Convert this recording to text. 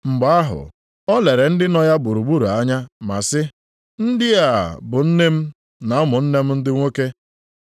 Mgbe ahụ, o lere ndị nọ ya gburugburu anya ma sị, “Ndị a bụ nne m, na ụmụnne m ndị nwoke!